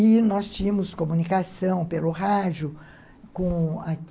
E nós tínhamos comunicação pelo rádio com